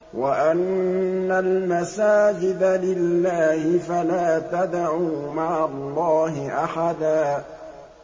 وَأَنَّ الْمَسَاجِدَ لِلَّهِ فَلَا تَدْعُوا مَعَ اللَّهِ أَحَدًا